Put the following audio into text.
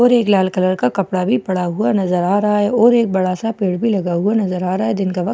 और एक लाल कलर का कपड़ा भी पड़ा हुआ नजर आ रहा है और एक बड़ा सा पेड़ भी लगा हुआ नजर आ रहा है दिन का वक्त --